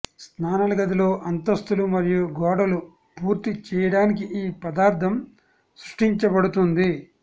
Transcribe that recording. స్నానాల గదిలో అంతస్తులు మరియు గోడలు పూర్తి చేయడానికి ఈ పదార్థం సృష్టించబడుతుంది